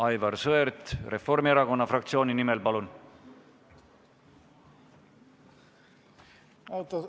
Aivar Sõerd Reformierakonna fraktsiooni nimel, palun!